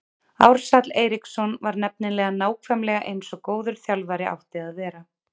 Ársæll Eiríksson var nefnilega nákvæmlega eins og góður þjálfari átti að vera.